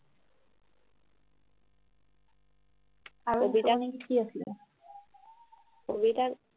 কবিতা কবিতা কি আছিলে কবিতা